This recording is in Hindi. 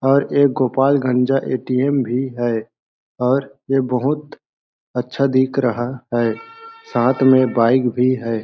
और एक गोपालगंजा ए_टी_एम भी है और ये बहुत अच्छा दिख रहा है और साथ में बाइक भी हैं।